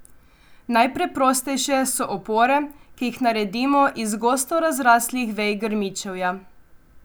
Najpreprostejše so opore, ki jih naredimo iz gosto razraslih vej grmičevja.